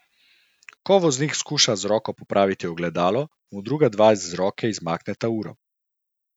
Ko voznik skuša z roko popraviti ogledalo, mu druga dva z roke izmakneta uro.